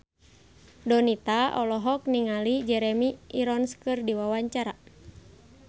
Donita olohok ningali Jeremy Irons keur diwawancara